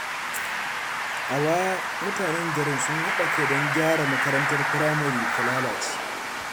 A baya, mutanen garin sun haɗa kai don gyara makarantar firamare da ta lalace.